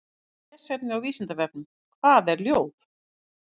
Frekara lesefni á Vísindavefnum: Hvað er ljóð?